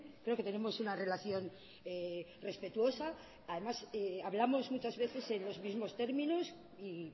creo que tenemos una relación respetuosa además hablamos muchas veces en los mismo términos y